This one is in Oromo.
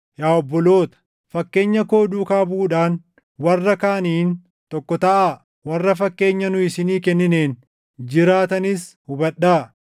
Yaa obboloota, fakkeenya koo duukaa buʼuudhaan warra kaaniin tokko taʼaa; warra fakkeenya nu isinii kennineen jiraatanis hubadhaa.